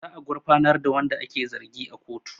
Za a gufarnar da wanda ake zargi a kotu